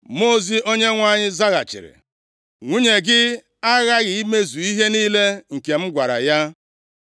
Mmụọ ozi Onyenwe anyị zaghachiri, “Nwunye gị aghaghị imezu ihe niile m nke m gwara ya.